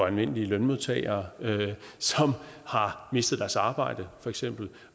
almindelige lønmodtagere som har mistet deres arbejde